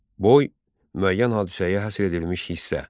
Boy müəyyən hadisəyə həsr edilmiş hissə.